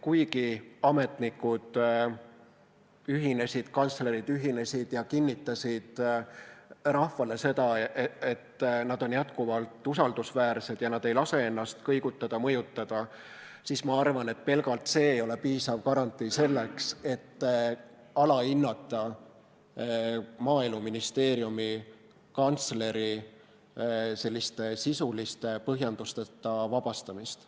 Kuigi ametnikud ühinesid, kantslerid ühinesid ja kinnitasid rahvale seda, et nad on jätkuvalt usaldusväärsed ega lase ennast kõigutada-mõjutada, siis ma arvan, et pelgalt see ei ole piisav garantii selleks, et alahinnata Maaeluministeeriumi kantsleri sellist sisuliste põhjendusteta vabastamist.